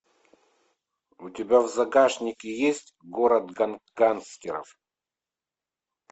у тебя в загашнике есть город гангстеров